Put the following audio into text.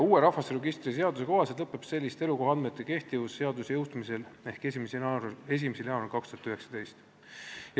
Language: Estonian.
Uue rahvastikuregistri seaduse kohaselt lõpeb selliste elukohaandmete kehtivus seaduse jõustumisel ehk 1. jaanuaril 2019.